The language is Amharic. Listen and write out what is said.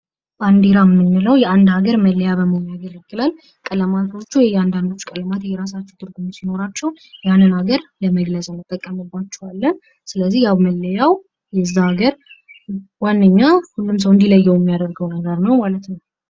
ባንዲራ ምንለው የአንድ ሀገር መለያ በመሆን ያገለግላል። ቀለማቶቹ የያንዳንዱ ቀለማት የራሳቸው ትርጉም ሲኖራቸው፤ እንን ሀገር ለመግለጽ እንጠቀምባቸዋለን። ስለዚህ ያው መለያው የዛ ሀገር ዋነኛ ሁሉም ሰው እንዲለየው የያደርገው ነገር ነው ማለት ነው።